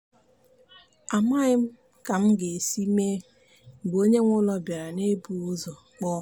amaghị m ka m ga-esi mee mgbe onye nwe ụlọ bịara n'ebughị ụzọ kpọọ.